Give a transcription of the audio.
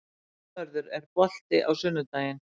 Náttmörður, er bolti á sunnudaginn?